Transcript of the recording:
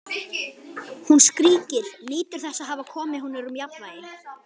Hún skríkir, nýtur þess að hafa komið honum úr jafnvægi.